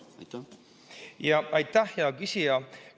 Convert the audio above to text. Aitäh, hea küsija!